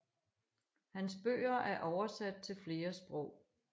Hans bøger er oversat til flere sprog